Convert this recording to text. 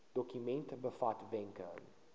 dokument bevat wenke